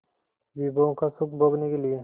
विभवों का सुख भोगने के लिए